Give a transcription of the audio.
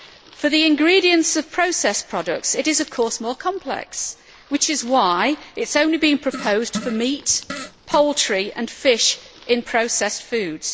For the ingredients of processed products, it is, of course, more complex, which is why it is only being proposed for meat, poultry and fish in processed foods.